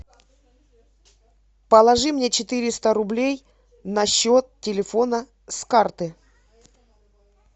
положи мне четыреста рублей на счет телефона с карты